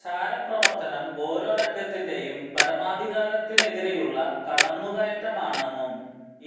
ചാരപ്രവര്ത്തനം ഓരോ രാജ്യത്തിന്റെയും പരമാധികാരത്തിനെതിരെയുള്ള കടന്നുകയറ്റമാണെന്നും